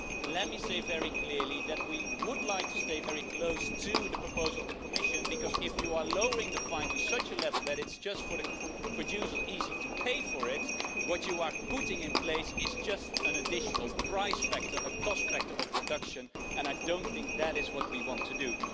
Let me say very clearly that we would like to stay very close to the Commission proposal because, if you lower the fine to such a level that it's easy for the producer to pay it, what you are putting in place is just an additional price factor a cost factor of production and I don't think that is what we want to do.